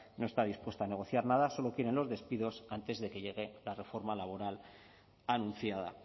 no está dispuesta a negociar nada solo quieren los despidos antes de que llegue la reforma laboral anunciada